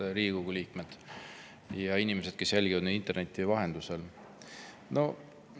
Head Riigikogu liikmed ja inimesed, kes jälgivad meid interneti vahendusel!